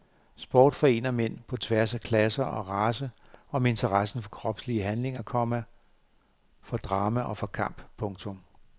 Sport forener mænd på tværs af klasser og race om interessen for kropslige handlinger, komma for drama og for kamp. punktum